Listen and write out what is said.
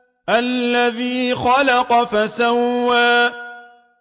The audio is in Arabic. الَّذِي خَلَقَ فَسَوَّىٰ